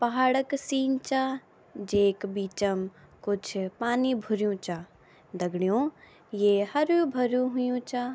पहाड़ क सीन चा जेक बीचम कुछ पानी भुर्युं चा दगडियों ये हरु भरू हुयुं चा।